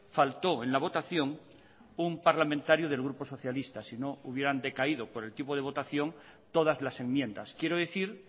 faltó en la votación un parlamentario del grupo socialista si no hubieran decaído por el tipo de votación todas las enmiendas quiero decir